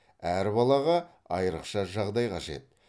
әр балаға айрықша жағдай қажет